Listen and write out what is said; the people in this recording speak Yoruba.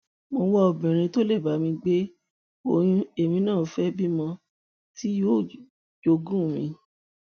mo ń wá obìnrin tó lè bá mi gbé oyún èmi náà fẹẹ bímọ tí yóò jogún mi